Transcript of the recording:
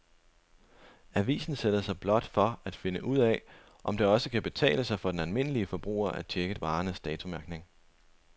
Avisen sætter sig blot for at finde ud af, om det også kan betale sig for den almindelige forbruger at checke varernes datomærkning.